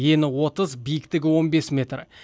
ені отыз биіктігі он бес метр